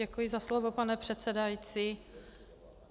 Děkuji za slovo, pane předsedající.